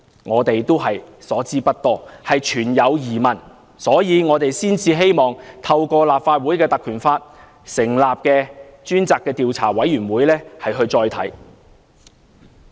我們所知不多，存有疑問，所以才希望透過根據《立法會條例》成立的專責委員會再作研究。